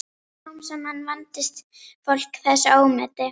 Smám saman vandist fólk þessu ómeti.